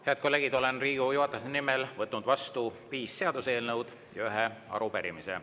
Head kolleegid, olen Riigikogu juhatuse nimel võtnud vastu viis seaduseelnõu ja ühe arupärimise.